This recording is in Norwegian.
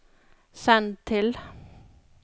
send til